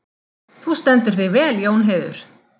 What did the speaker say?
Þú stendur þig vel, Jónheiður!